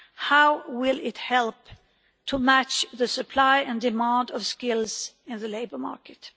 How will it help to match the supply and demand of skills in the labour market?